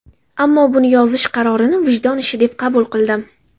Ammo... buni yozish qarorini vijdon ishi deb qabul qildim.